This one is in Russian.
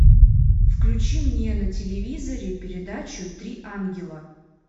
включи мне на телевизоре передачу три ангела